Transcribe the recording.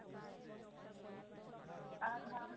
ଆ ହଁ